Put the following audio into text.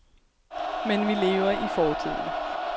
Men vi lever i fortiden.